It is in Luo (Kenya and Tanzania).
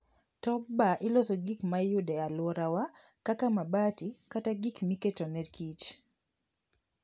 Top bar iloso gi gik mayude e aluora wa kaka mabati kata gik miketone kich